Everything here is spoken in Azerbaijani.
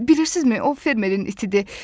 Bilirsinizmi, o fermerin itidir.